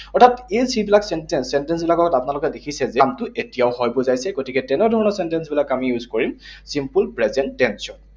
অৰ্থাৎ এই যিবিলাক sentence, sentence বিলাকত আপোনালোকে দেখিছে যে কামটো এতিয়াও হয় বুজাইছে। গতিকে তেনে ধৰণৰ sentence বিলাক আমি use কৰিম simple present tense ত।